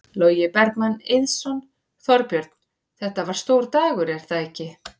Logi Bergmann Eiðsson: Þorbjörn, þetta var stór dagur er það ekki?